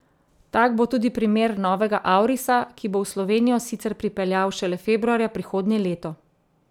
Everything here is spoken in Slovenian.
Tak bo tudi primer novega aurisa, ki bo v Slovenijo sicer pripeljal šele februarja prihodnje leto.